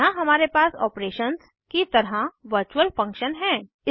यहाँ हमारे पास ऑपरेशंस की तरह वर्चुअल फंक्शन है